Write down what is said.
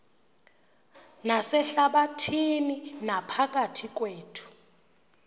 nasehlabathini naphakathi kwethu